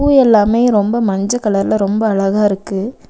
பூ எல்லாமே ரொம்ப மஞ்ச கலர்ல ரொம்ப அழகா இருக்கு.